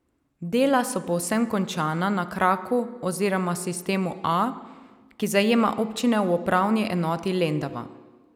Dela so povsem končana na kraku oziroma sistemu A, ki zajema občine v upravni enoti Lendava.